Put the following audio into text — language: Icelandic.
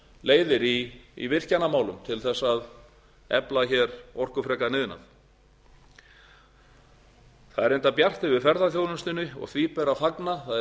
leiðir í virkjanamálum til þess að efla hér orkufrekan iðnað það er reyndar bjart yfir ferðaþjónustunni og því ber að fagna